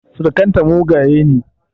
Surukan ta mugaye ne